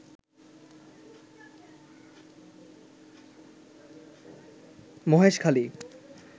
Maheshkhali